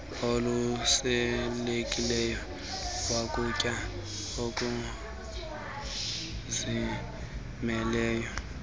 okhuselekileyo wokutya oluzimeleyo